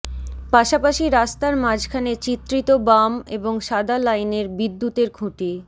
পাশাপাশি রাস্তার মাঝখানে চিত্রিত বাম এবং সাদা লাইনের বিদ্যুতের খুঁটি